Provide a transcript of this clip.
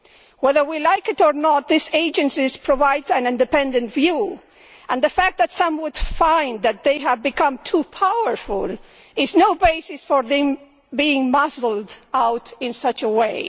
Whether we like it or not, these agencies provide an independent view, and the fact that some would find that they have become too powerful is no basis for them being muscled out in such a way.